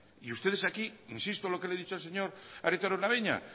insisto lo que le he dicho al señor arieta araunabeña